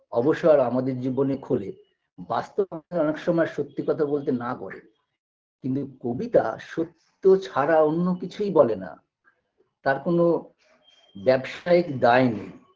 অবসর আমাদের জীবনে খোলে বাস্তব অনেক সময় সত্যি কথা বলতে না করে কিন্তু এই কবিতা সত্য ছাড়া অন্য কিছুই বলে না তার কোনো ব্যাবসায়িক দায় নেই